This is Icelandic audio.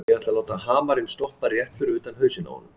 Ég ætlaði að láta hamarinn stoppa rétt fyrir ofan hausinn á honum.